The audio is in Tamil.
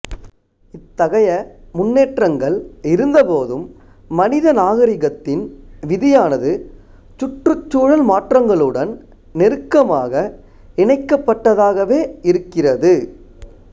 இத்தகைய முன்னேற்றங்கள் இருந்தபோதும் மனித நாகரிகத்தின் விதியானது சுற்றுச்சூழல் மாற்றங்களுடன் நெருக்கமாக இணைக்கப்பட்டதாகவே இருக்கிறது